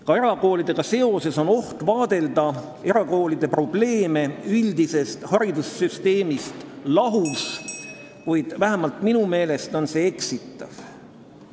Ka erakoolide probleeme on oht vaadelda üldisest haridussüsteemist lahus, kuid vähemalt minu meelest on see eksitav.